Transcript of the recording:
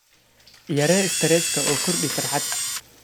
yaree stresska oo kordhi farxad.